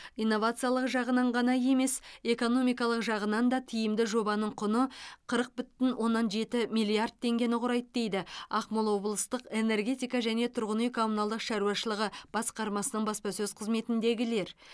инновациялық жағынан ғана емес экономикалық жағынан да тиімді жобаның құны қырық бүтін оннан жеті миллиард теңгені құрайды дейді ақмола облыстық энергетика және тұрғын үй коммуналдық шаруашылығы басқармасының баспасөз қызметіндегілер